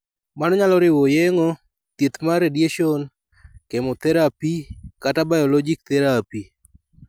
Mano nyalo riwo yeng'o, thieth mar radiation, chemotherapy, kata biologic therapy.